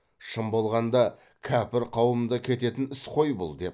шын болғанда кәпір қауымында кететін іс қой бұл деп